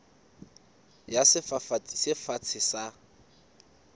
ya sefafatsi se fatshe sa